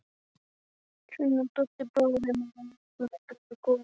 Svenni og Doddi, bróðir hennar, eru jafnaldrar og góðir vinir.